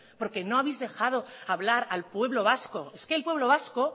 porque no habéis dejado hablar al pueblo vasco es que el pueblo vasco